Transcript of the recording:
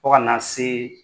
Fɔ kana see